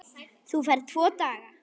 Þú færð tvo daga.